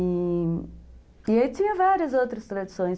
E... E aí tinha várias outras tradições.